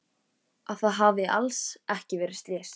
Að það hafi alls ekki verið slys.